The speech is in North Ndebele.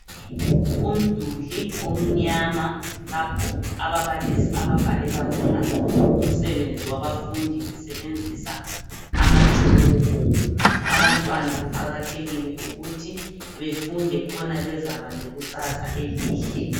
Umduli omnyama lapho ababalisi ababhalela khona umsebenzi wabafundi besebenzisa amatshoko. Abantwana kuqakathekile ukuthi befunde khona bezaba lekusasa elihle.